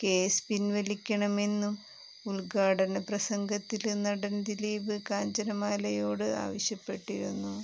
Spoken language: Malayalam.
കേസ് പിന്വലിക്കണമെന്നും ഉദ്ഘാടനപ്രസംഗത്തില് നടന് ദിലീപ് കാഞ്ചനമാലയോട് ആവശ്യപ്പെട്ടിരുന്നു